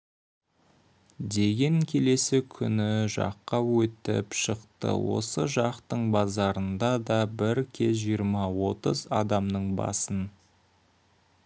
деген келесі күні жаққа өтіп шықты осы жақтың базарында да бір кез жиырма-отыз адамның басын